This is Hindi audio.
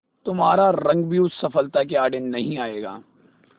तुम्हारा रंग भी उस सफलता के आड़े नहीं आएगा